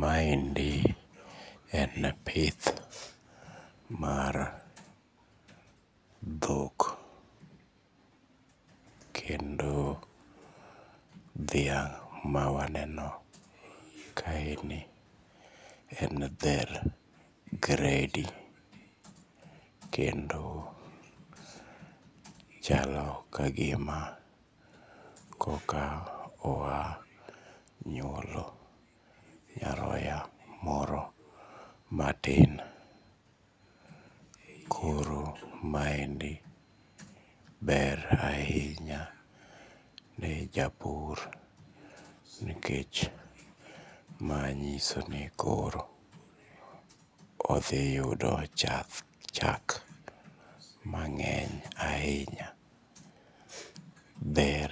Maendi en pith mar dhok kendo dhiang' ma waneno kaeni en dher gredi kendo chalo kagima koka oa nyuolo nyaroya moro matin. Koro maendi ber ahinya ne japur nikech manyiso ni koro odhi yudo chak mang'eny ahinya. Dher